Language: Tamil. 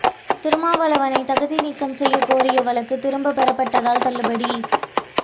திருமாவளவனை தகுதி நீக்கம் செய்ய கோரிய வழக்கு திரும்பப் பெறப்பட்டதால் தள்ளுபடி